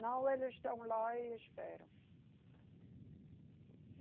Não, elas estão lá e esperam.